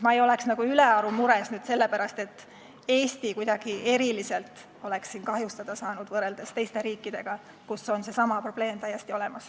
Ma ei oleks ülearu mures selle pärast, et Eesti oleks kuidagi eriliselt kahjustada saanud, võrreldes teiste riikidega, kus on seesama probleem täiesti olemas.